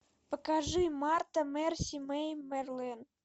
покажи марта марси мэй марлен